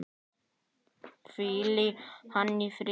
Hvíli hann í friði.